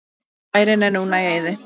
Bærinn er núna í eyði.